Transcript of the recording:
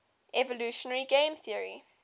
evolutionary game theory